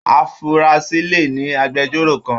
Afurasi le ní agbẹ̀jọ́ro kàn.